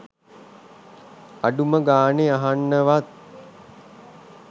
අඩුම ගානේ අහන්නවත්